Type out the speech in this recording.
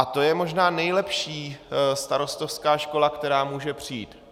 A to je možná nejlepší starostovská škola, která může přijít.